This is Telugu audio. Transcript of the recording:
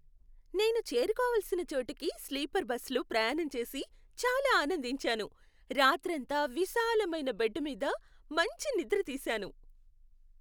నేను చేరుకోవల్సిన చోటుకి స్లీపర్ బస్సులో ప్రయాణం చేసి చాలా ఆనందించాను, రాత్రంతా విశాలమైన బెడ్డు మీద మంచి నిద్ర తీసాను.